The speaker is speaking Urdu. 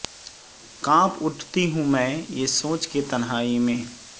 کانپ اٹھتی ہوں میں یہ سوچ کے تنہائی میں